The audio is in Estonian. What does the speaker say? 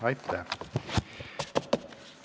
Aitäh!